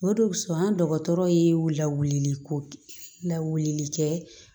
O de kosɔn an dɔgɔtɔrɔ ye lawuli ko lawulikɛ